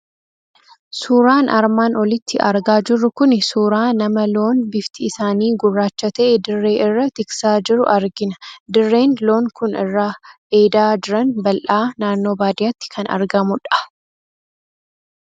Suuraan armaan olitti argaa jirru kuni suuraa nama loon bifti isaanii gurraacha ta'e dirree irra tiksaa jiru argina. Dirreen loon kun irra eedaa jiran bal'aa, naannoo baadiyaatti kan argamu dha.